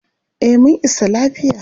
Eh mun isa lafiya.